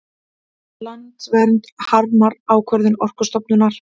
Landvernd harmar ákvörðun Orkustofnunar